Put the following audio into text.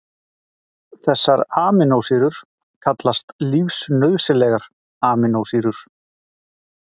Þessar amínósýrur kallast lífsnauðsynlegar amínósýrur.